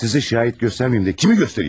Sizi şahid göstərməyim də kimi göstərim?